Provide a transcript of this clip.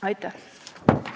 Aitäh!